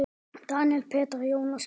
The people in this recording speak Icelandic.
Daníel, Petra, Jónas Pálmi.